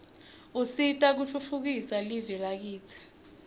usita kutfutfukisa live lakitsi